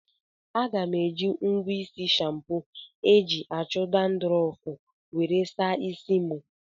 Aga m eji ngwa isi shampo eji achụ dandrọfu were saa isi m